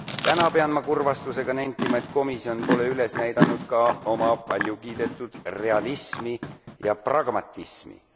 Täna pean ma kurvastusega nentima, et komisjon pole üles näidanud ka oma paljukiidetud realismi ja pragmatismi.